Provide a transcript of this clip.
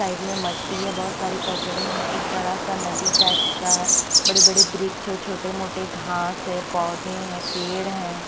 Side में मट्टी है बहोत सारे कचड़ा हैं एक बड़ा सा नदी टाइप्स का है बड़े बड़े वृक्ष है छोटे मोटे घास है पौधे है पेड़ हैं।